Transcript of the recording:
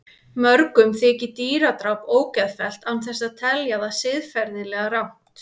Mörgum þykir dýradráp ógeðfellt án þess að telja það siðferðilega rangt.